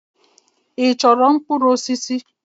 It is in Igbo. Ị chọrọ mkpụrụ osisi?